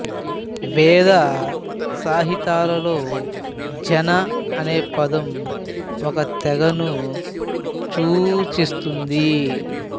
వేద సంహితాలలో జన అనే పదం ఒక తెగను సూచిస్తుంది